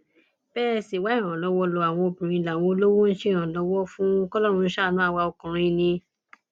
bẹ ẹ sì wá ìrànlọwọ lo àwọn obìnrin làwọn olówó ń ṣèrànlọwọ fún kọlọrun ṣàánú àwa ọkùnrin ni